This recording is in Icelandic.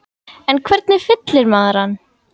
En hvernig fyllir maður hann?